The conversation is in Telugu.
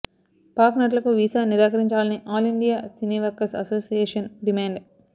పాక్ నటులకు వీసా నిరాకరించాలని All India Cine Workers Association demand